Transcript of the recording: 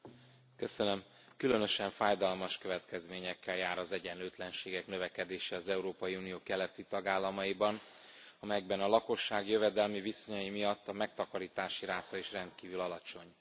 Elnök Asszony, különösen fájdalmas következményekkel jár az egyenlőtlenségek növekedése az Európai Unió keleti tagállamaiban, amelyekben a lakosság jövedelmi viszonyai miatt a megtakarítási ráta is rendkívül alacsony.